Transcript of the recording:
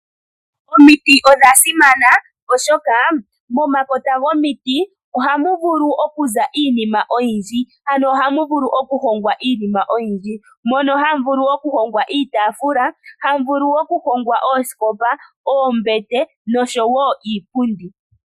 Omiti odha simana, oshoka momakota gomiti ohamu vulu okuza iinima oyindji. Ano hamu vulu okuhongwa iinima ngaashi; oombete, iitafula, oosikopa nosho wo iipundi.